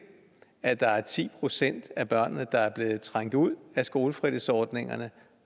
at der er ti procent af børnene der er blevet trængt ud af skolefritidsordningerne